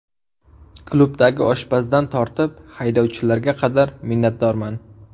Klubdagi oshpazdan tortib, haydovchilarga qadar minnatdorman.